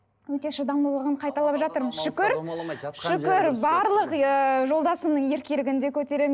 өте шыдамдылығын қайталап жатырмын шүкір шүкір барлық ыыы жолдасымның еркелігін де көтеремін